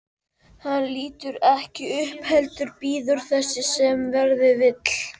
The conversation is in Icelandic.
Hann lítur ekki upp heldur bíður þess sem verða vill.